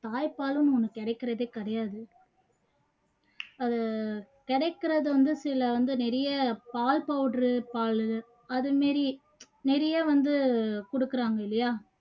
தாய்ப்பாலும் நமக்கு கிடைக்குறதே கிடையாது அது கிடைக்குறது வந்து சில வந்து நிறைய பால் powder உ பாலு அது மாதிரி நிறைய வந்து கொடுக்குறாங்க இல்லையா